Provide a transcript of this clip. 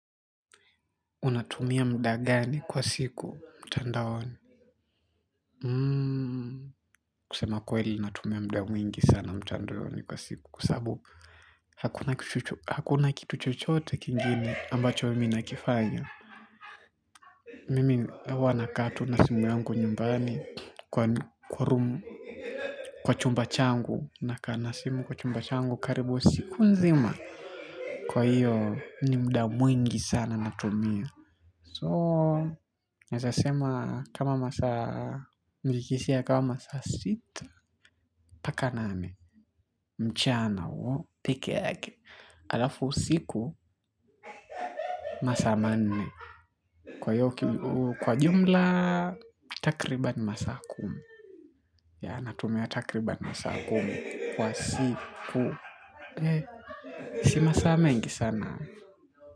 Unatumia muda gani kwa siku mtandaoni? Kusema kweli natumia muda mwingi sana mtandaoni kwa siku. Kwa sababu hakuna kitu chochote kingine ambacho mimi nakifanya. Mimi huwa nakaa tu na simu yangu nyumbani kwa room. Kwa chumba changu. Nakaa na simu kwa chumba changu karibu siku nzima. Kwa hiyo ni muda mwingi sana natumia. So, naeza sema kama masaa mbilikishi ya kama masaa sita. Mpaka nane, mchana huo, peke yake alafu usiku, masaa manne. Kwa jumla, takribani masaa kumi. Yeah, natumia takribani masaa kumi kwa siku. Sio masaa mengi sana.